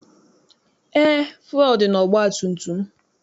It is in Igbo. Eé, fụelụ dị n'ọgbatumtum m.